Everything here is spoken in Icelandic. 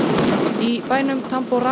í bænum